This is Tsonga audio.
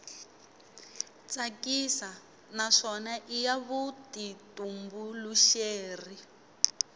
tsakisa naswona i ya vutitumbuluxeri